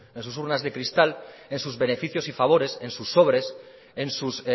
en sus urnas de cristal en sus beneficios y favores en sus sobres en sus